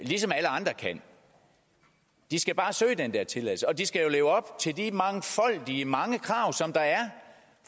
ligesom alle andre kan de skal bare søge den der tilladelse og de skal jo leve op til de mange krav der er